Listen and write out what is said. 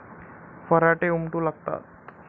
फराटे उमटू लागतात.